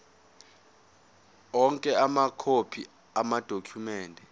onke amakhophi amadokhumende